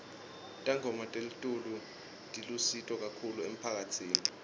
tangoma telitulu tilusito kahulu emphakatsini